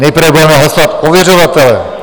Nejprve budeme hlasovat ověřovatele.